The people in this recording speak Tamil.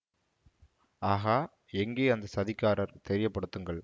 ஆகா எங்கே அந்த சதிகாரர் தெரியப்படுத்துங்கள்